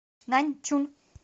наньчун